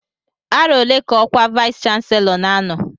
Arọ ole ka ọkwa vayis chansilọ n'anọ?